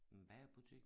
En bagerbutik